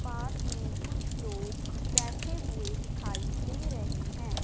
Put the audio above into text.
पास में कुछ लोग बैठे हुए दिखाई दे रहें हैं।